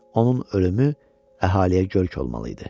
Onun ölümü əhaliyə görk olmalı idi.